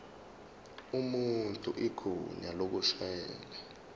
umuntu igunya lokushayela